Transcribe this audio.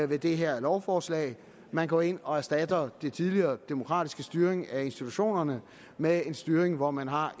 det her lovforslag man går ind og erstatter den tidligere demokratiske styring af institutionerne med en styring hvor man har